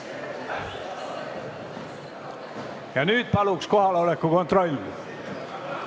Nüüd teeme palun kohaloleku kontrolli!